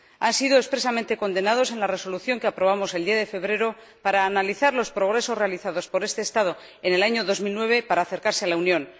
Estos hechos fueron expresamente condenados en la Resolución que aprobamos el 10 de febrero para analizar los progresos realizados por este Estado en el año 2009 para acercarse a la Unión